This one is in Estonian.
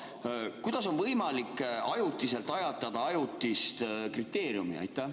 Ja kuidas on võimalik ajutiselt ajatada ajutist kriteeriumi?